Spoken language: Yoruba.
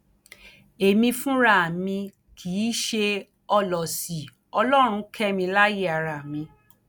èmi fúnra mi kì í ṣe ọlọsí ọlọrun kẹ mi láàyè ara mi